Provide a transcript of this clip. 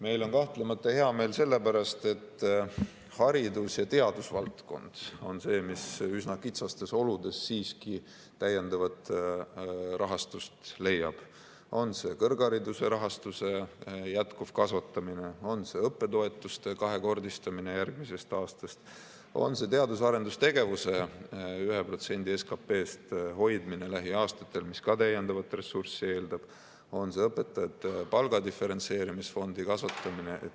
Meil on kahtlemata hea meel selle pärast, et haridus- ja teadusvaldkond on see, mis üsna kitsastes oludes siiski täiendavat rahastust leiab – on see kõrghariduse rahastuse jätkuv kasvatamine, on see õppetoetuste kahekordistamine järgmisest aastast, on see teadus- ja arendustegevusse 1% SKP-st hoidmine lähiaastatel, mis ka täiendavat ressurssi eeldab, on see õpetajate palga diferentseerimisfondi kasvatamine.